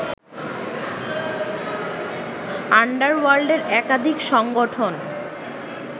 আন্ডারওয়ার্ল্ডের একাধিক সংগঠন